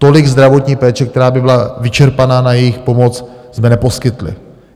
Tolik zdravotní péče, která by byla vyčerpaná na jejich pomoc, jsme neposkytli.